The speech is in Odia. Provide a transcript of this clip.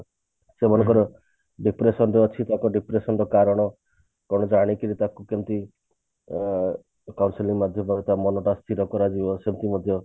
ସେମାନଙ୍କର depression ଯଦି ଅଛି depression ର କାରଣ ତେଣୁ ଜାଣିକିରି ତାକୁ କେମତି ଅ counselling ମାଧ୍ୟମରେ ତା ମନଟା ସ୍ଥିର କରାଯିବ ସେମତି ମଧ୍ୟ